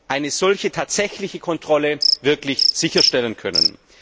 eine solche tatsächliche Kontrolle wirklich sicherstellen können.